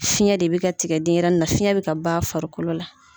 Fiɲɛ de bɛ ka tigɛ denyɛrɛni na, fiɲɛ bɛ ka b'a farikolo la.